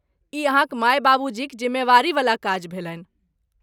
ई अहाँक माय बाबूजीक जिम्मेवारीवला काज भेलनि ।